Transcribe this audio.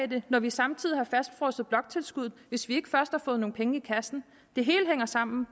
det når vi samtidig har fastfrosset bloktilskuddet hvis vi ikke først har fået nogle penge i kassen det hele hænger sammen og